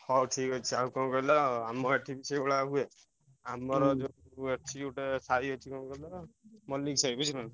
ହଉ ଠିକ୍ ଅଛି ଆଉ କଣ କହିଲ ଆମ ଏଠି ବି ସେଇ ଭଳିଆ ହୁଏ ଆମର ଅଛି ଗୋଟେ ସାହି ଅଛି କଣ କହିଲ ମଲ୍ଲିକ ସାହି ବୁଝିପରିଲ ନା।